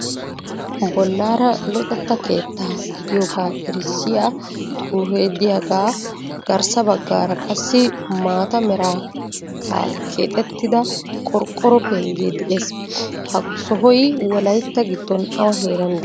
Bollaara luxetta keetta gidiyoogaa erissiya xuufe de"iyaagaa garssa baggaara qassi maata mera keexettida qorqoro penggee de'ees. Ha sohoy wolayitta giddon awa heeran de'ii?